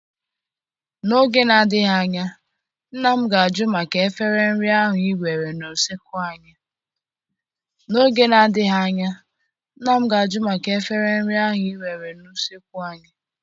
N'oge na-adịghị anya, nna m ga-ajụ maka efere nri ahụ ị were na usekwu anyị.